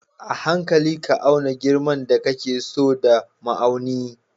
A hankali ka auna girman da kake so da ma'auni